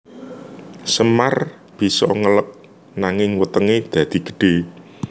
Semar bisa ngeleg nanging wetenge dadi gedhe